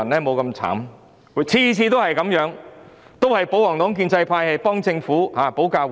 每次的情況都一樣，都是保皇黨和建制派議員替政府保駕護航。